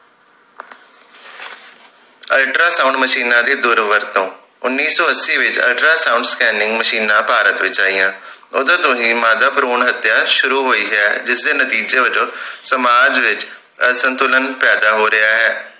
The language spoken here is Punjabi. ultra sound ਮਸ਼ੀਨਾਂ ਦੀ ਦੁਰ ਵਰਤੋਂ ਉੱਨੀ ਸੋ ਅੱਸੀ ਵਿਚ ultra sound scanning ਮਸ਼ੀਨਾਂ ਭਾਰਤ ਵਿਚ ਆਈਆਂ ਓਦੋਂ ਤੋਂ ਹੀ ਮਾਦਾ ਭਰੂਣ ਹਤਿਆ ਸ਼ੁਰੂ ਹੋਈ ਹੈ ਜਿਸ ਦੇ ਨਤੀਜੇ ਵੱਜੋਂ ਸਮਾਜ ਵਿਚ ਅਸੰਤੁਲਨ ਪੈਦਾ ਹੋ ਰਿਹੇ